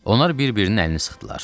Onlar bir-birinin əlini sıxdılar.